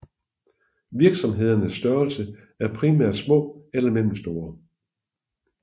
Virksomhedernes størrelse er primært små eller mellemstore